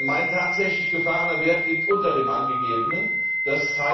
Mein tatsächlich gefahrener Wert liegt unter dem angegebenen, d.